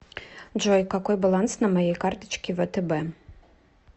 джой какой баланс на моей карточке втб